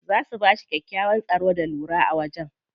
Za su bashi kyakkyawan tsaro da lura a wajen.